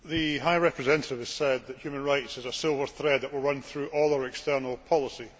The High Representative has described human rights as a silver thread that will run through all our external policy.